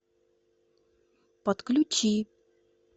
подключи